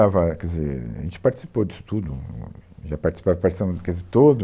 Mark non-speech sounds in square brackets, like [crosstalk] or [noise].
Estava, quer dizer, A gente participou disso tudo, hum, ia participar a [unintelligible]